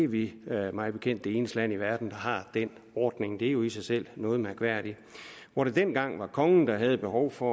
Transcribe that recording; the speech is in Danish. vi er mig bekendt det eneste land i verden der har den ordning det er jo i sig selv noget mærkværdigt hvor det dengang var kongen der havde et behov for